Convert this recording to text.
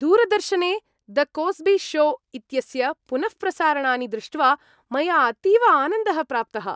दूरदर्शने "the Cosby Show" इत्यस्य पुनःप्रसारणानि दृष्ट्वा मया अतीव आनन्दः प्राप्तः।